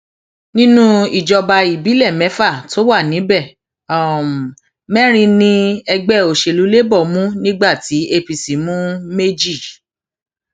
nínú ìjọba ìbílẹ mẹfà tó wà níbẹ mẹrin ni ẹgbẹ òsèlú labour mú nígbà tí apc mú méjì